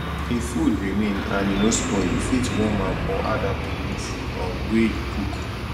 if food remain and e no spoil you fit warn am or add am to new food um wey you cook